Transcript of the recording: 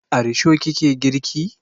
A risho ki ke girki?